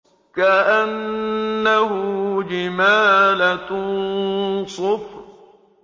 كَأَنَّهُ جِمَالَتٌ صُفْرٌ